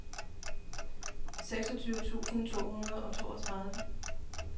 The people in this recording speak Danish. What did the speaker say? seksogtyve tusind to hundrede og toogtredive